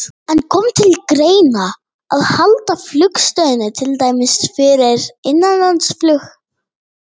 En kom til greina að halda flugstöðinni til dæmis fyrir innanlandsflug?